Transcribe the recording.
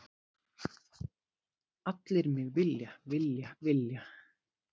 Allir mig vilja, vilja, vilja.